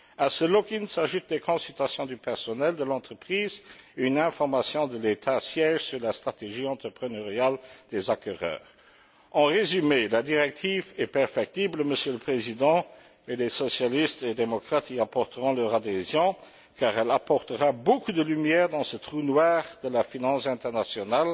À ce lock in s'ajoutent des consultations du personnel de l'entreprise, une information de l'État siège sur la stratégie entrepreneuriale des acquéreurs. En résumé, la directive est perfectible, Monsieur le Président, mais les socialistes et les démocrates y donneront leur adhésion car elle apportera beaucoup de lumière dans ce trou noir de la finance internationale